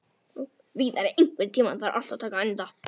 Víðar, einhvern tímann þarf allt að taka enda.